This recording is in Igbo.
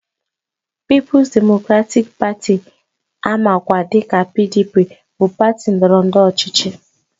Pịịpụs demokratịk Patị amakwa dịka PDP bụ patị ndọrọndọrọ ọchịchị